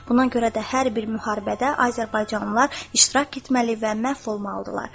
Buna görə də hər bir müharibədə azərbaycanlılar iştirak etməli və məhv olmalı idilər.